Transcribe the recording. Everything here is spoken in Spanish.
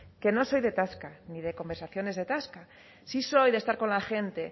que no soy de tasca ni de conversaciones de tasca si soy de estar con la gente